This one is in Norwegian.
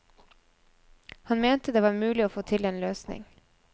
Han mente at det var mulig å få til en løsning.